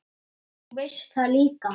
Og þú veist það líka.